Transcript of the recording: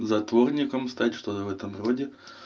затворником стать что-то в этом роде